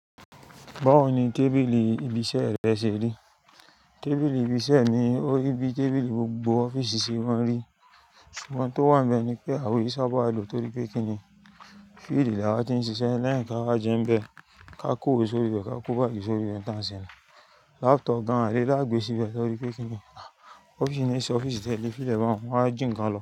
Báwo ni tábìlì ibi iṣẹ́ rẹ ṣe rí? Tábìlì ibi iṣẹ́ mi ó rí bí i tábìlì gbogbo ọ́fíìsì ṣe maa n rí. Ṣùgbọ́n tó wà níbẹ̀ ni pé àwọn ò ṣábà lò torí pé kíni fíìlì là wá ti ń ṣiṣẹ́ lẹ́ẹ̀ka máa jẹ ń bẹ, ká kó o sórí rẹ̀ ká kó báàgì sórí rẹ̀ tán sẹ́nu. Laptop gan àbí lágb'ẹ́sí bẹ́ẹ̀ torí pé kíni ọ́fíìsì ni ṣe ọ́fíìsì tẹ́lẹ̀ fíìlì bá wọ́n, wọ́n á jìnkan lọ.